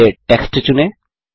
पहले टेक्स्ट चुनें